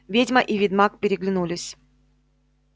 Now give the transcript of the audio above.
ведьма и ведьмак переглянулись